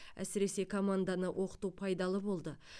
әсіресе команданы оқыту пайдалы болды